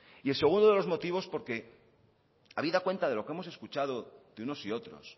y el segundo de los motivos porque habida cuenta de lo que hemos escuchado de unos y otros